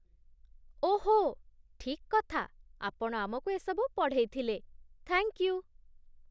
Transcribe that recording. ଓହୋ, ଠିକ୍ କଥା, ଆପଣ ଆମକୁ ଏସବୁ ପଢ଼େଇଥିଲେ, ଥ୍ୟାଙ୍କ୍ ୟୁ ।